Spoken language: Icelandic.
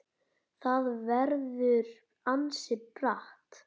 Það verður ansi bratt.